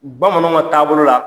Bamananw ka taabolo la